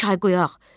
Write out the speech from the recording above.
Çay qoyaq,